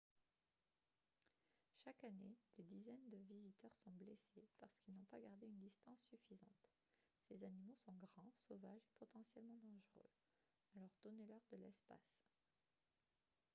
chaque année des dizaines de visiteurs sont blessés parce qu'ils n'ont pas gardé une distance suffisante ces animaux sont grands sauvages et potentiellement dangereux alors donnez-leur de l'espace